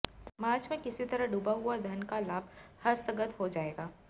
मार्च में किसी तरह डूबा हुआ धन का लाभ हस्तगत हो जाएगा